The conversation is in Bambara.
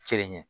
Kelen ɲɛ